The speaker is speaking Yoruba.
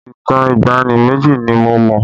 Ìtàn ìgbàanì méjì ni mo mọ̀